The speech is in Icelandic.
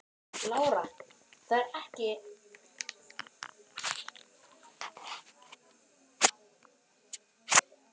Lára: Það er ekki fyrsti kostur?